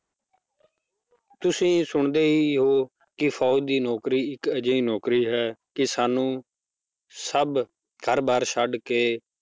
ਤੁਸੀਂ ਸੁਣਦੇ ਹੀ ਹੋ ਕਿ ਫੌਜ਼ ਦੀ ਨੌਕਰੀ ਇੱਕ ਅਜਿਹੀ ਨੌਕਰੀ ਹੈ ਕਿ ਸਾਨੂੰ ਸਭ ਘਰ ਬਾਰ ਛੱਡ ਕੇ